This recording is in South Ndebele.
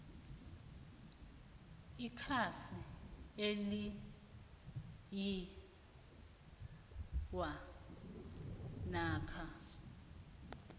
ikhasi eliyia namkha